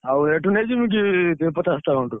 ଆଉ ଏଠୁ ନେଇଯିବି କି ପଚାଶଟା ଖଣ୍ଡେ?